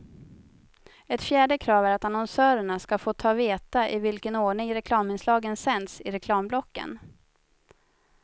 Ett fjärde krav är att annonsörerna ska få ta veta i vilken ordning reklaminslagen sänds i reklamblocken.